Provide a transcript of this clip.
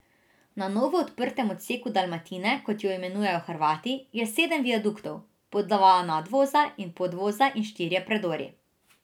Na novo odprtem odseku Dalmatine, kot jo imenujejo Hrvati, je sedem viaduktov, po dva nadvoza in podvoza in štirje predori.